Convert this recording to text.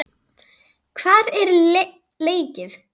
Hvar er leikið?